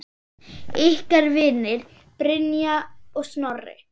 Ykkar vinir, Brynja og Snorri.